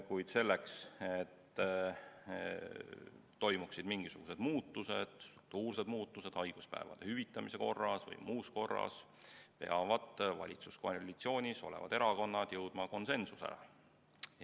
Kuid selleks, et toimuksid mingisugused muutused, struktuursed muutused haiguspäevade hüvitamise korras või muus korras, peavad valitsuskoalitsioonis olevad erakonnad jõudma konsensusele.